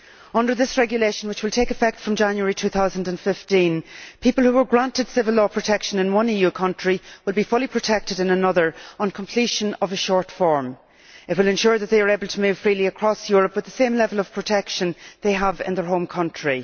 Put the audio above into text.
Under this regulation, which will take effect from January 2015, people who were granted civil law protection in one EU country will be fully protected in another on completion of a short form. It will ensure that they are able to move freely across Europe with the same level of protection they have in their home country.